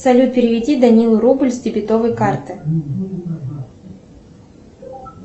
салют переведи данилу рубль с дебетовой карты